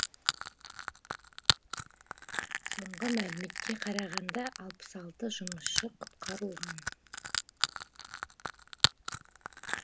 соңғы мәліметке қарағанда алпыс алты жұмысшы құтқарылған